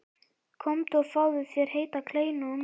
Komdu og fáðu þér heita kleinu og mjólk.